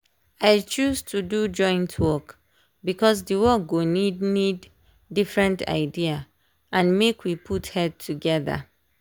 i choose to do joint work because the work go need need different idea and make we put head together.